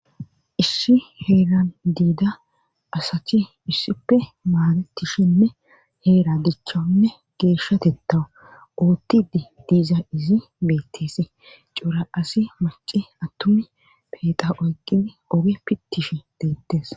ishi heegan diida asati issippe maaletishinne heera dichchonne geeshshatetta uuttidi diiza izi beettesi cuura asi maci attumi peeqa oyqidi oge pittifh deettes